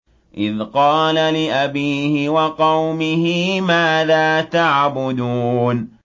إِذْ قَالَ لِأَبِيهِ وَقَوْمِهِ مَاذَا تَعْبُدُونَ